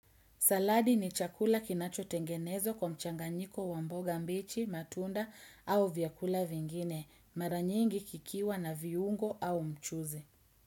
Saladi ni chakula kinacho tengenezwa kwa mchanganyiko wamboga mbichi, matunda au vyakula vingine. Maranyingi kikiwa na viungo au mchuzi.